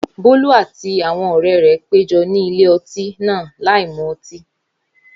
Bólú àti àwọn ọ̀rẹ́ rẹ̀ péjọ ní ilé ọtí náà láìmu ọtí